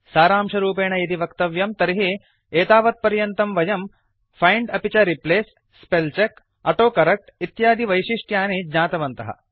सारांशरूपेण यदि वक्तव्यं तर्हि एतावत्पर्यन्तं वयं फैंड् अपि च replace spell check autocorrect इत्यादिवैशिष्ट्यानि ज्ञातवन्तः